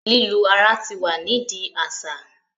lilu ara tí wá ni di a aṣa